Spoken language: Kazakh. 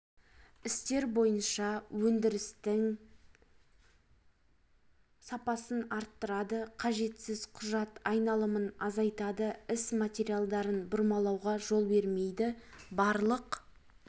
істер бойынша өндірістің сапасын арттырады қажетсіз құжат айналымын азайтады іс материалдарын бұрмалауға жол бермейді барлық